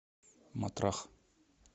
матрах